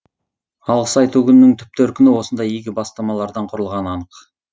алғыс айту күнінің түп төркіні осындай игі бастамалардан құрылғаны анық